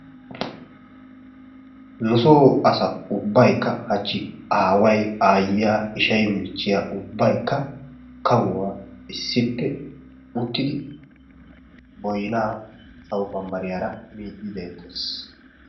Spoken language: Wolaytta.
Nusoo asa ubbaykka hachchi aaway, aayyiya, ishay, michchiya ubbaykka kawuwa issippe uttidi boynaa sawo bambbariyara miiddi deettees.